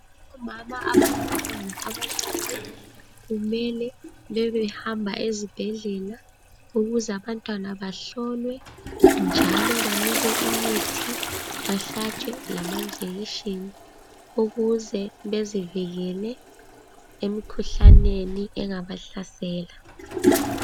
Omama abalabantwana abancane kumele bebehamba ezibhedlela ukuze abantwana bahlolwe njalo banikwe imithi bahlatshwe amajekitshini ukuze bezivikele emkhuhlaneni engabahlasela.